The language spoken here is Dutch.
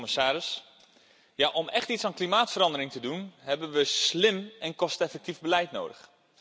Beste commissaris, om echt iets aan klimaatverandering te doen, hebben we slim en kosteneffectief beleid nodig.